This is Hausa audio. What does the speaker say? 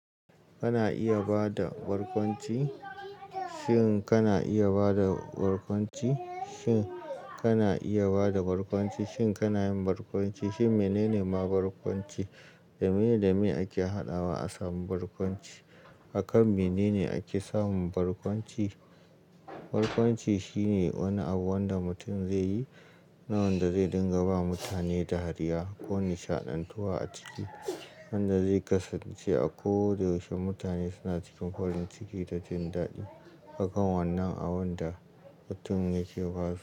Kana iya ba da barkwanci? Shin kana iya ba da barkwanci? Shin kana iya ba da barkwanci? Shin kana yin barkwanci? Shin mene ne ma barkwanci? Da miye da miye ake haɗawa a samu barkwanci? Akan mene ne ake samun barkwanci? Barkwanci shine wani abu wanda mutum zai yi, na wanda zai dinga ba mutane dariya ko nishaɗantuwa a ciki, wanda zai kasance a ko da yaushe mutane suna cikin farin ciki da jin daɗi. Haka wannan abun da mutum yake ba su.